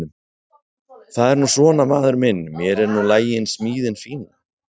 Það er nú svona maður minn mér er nú lagin smíðin fína.